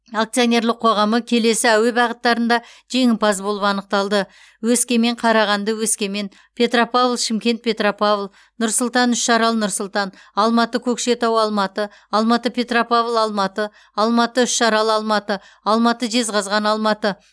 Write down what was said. акционерліқ қоғамы келесі әуе бағыттарында жеңімпаз болып анықталды өскемен қарағанды өскемен петропавл шымкент петропавл нұр сұлтан үшарал нұр сұлтан алматы көкшетау алматы алматы петропавл алматы алматы үшарал алматы алматы жезқазған алматы